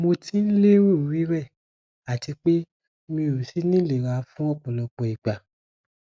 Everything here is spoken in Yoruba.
mo ti n lero rirẹ àti pé mi ò sì nilera fún ọpọlọpọ ìgbà